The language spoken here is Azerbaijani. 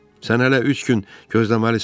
Sən hələ üç gün gözləməlisən.